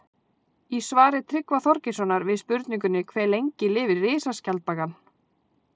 Í svari Tryggva Þorgeirssonar við spurningunni Hve lengi lifir risaskjaldbakan?